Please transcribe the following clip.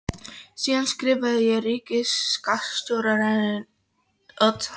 Síðan skrifaði ég ríkisskattstjóra rétt eina ferðina til.